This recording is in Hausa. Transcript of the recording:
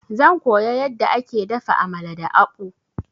Zan koya yadda ake dafa Amala da akpu.